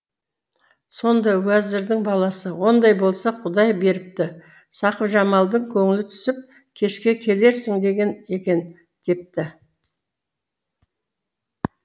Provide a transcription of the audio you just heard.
сонда уәзірдің баласы ондай болса құдай беріпті сақыпжамалдың көңілі түсіп кешке келерсің деген екен депті